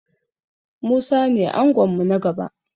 Musa ne angon mu na gaba.